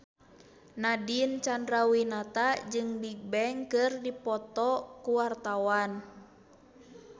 Nadine Chandrawinata jeung Bigbang keur dipoto ku wartawan